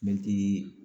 Mɛtiri